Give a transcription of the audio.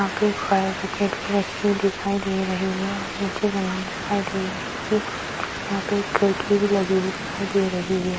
यहाँ पे एक फायर विकेट भी रखी हुई दिखाई दे रही है और नीचे जमीन दिखाई दे रही है यहाँ पे एक खिड़की भी लगी हुई दिखाई दे रही है ।